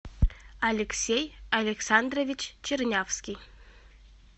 алексей александрович чернявский